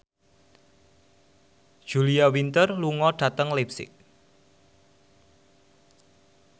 Julia Winter lunga dhateng leipzig